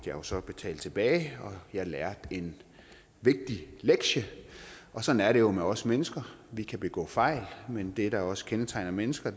jo så betale tilbage og jeg lærte en vigtig lektie og sådan er det jo med os mennesker vi kan begå fejl men det der også kendetegner mennesker